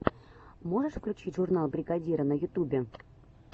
можешь включить журнал бригадира на ютюбе